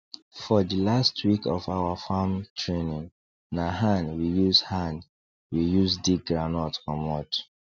for the last week of our farm training na hand we use hand we use dig groundnut comot